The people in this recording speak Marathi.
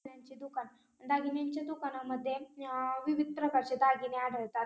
दागिन्यांचे दुकान दागिन्यांच्या दुकानामध्ये अ विविध प्रकारचे दागिने आढळतात.